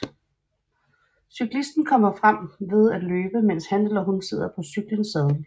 Cyklisten kommer frem ved at løbe mens han eller hun sidder på cyklens saddel